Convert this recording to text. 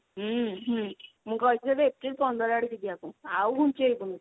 ହୁଁ ହୁଁ ମୁଁ କହିଥିଲି ତତେ april ପନ୍ଦର ଆଡିକି ଯିବାକୁ ଆଉ ଘୁଞ୍ଚେଇବୁନୁ।